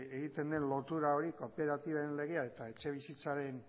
egiten den lotura hori kooperatiben legea eta